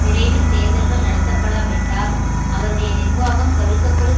விரைவில் தேர்தல்கள் நடத்தப்படாவிட்டால் அவருடைய நிர்வாகம் கவிழ்க்கப்படும்